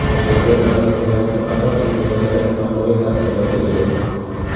Moderna vaksinasi qator sezilarli nojo‘ya ta’sirlarga ega.